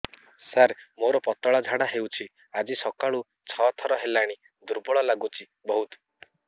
ସାର ମୋର ପତଳା ଝାଡା ହେଉଛି ଆଜି ସକାଳୁ ଛଅ ଥର ହେଲାଣି ଦୁର୍ବଳ ଲାଗୁଚି ବହୁତ